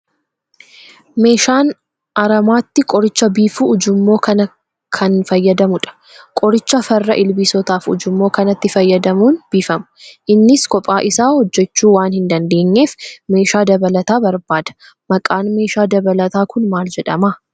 Meeshaan aramaatti qoricha biifu ujummoo kana kan fayyadamudha. Qoricha farra ilbiisotaas ujummoo kanatti fayyadamuun biifama. Innis kophaa isaa hojjechuu waan hin dandeenyeef, meeshaa dabalataa barbaada. Maqaan meeshaa dabalataa kun maal jedhama?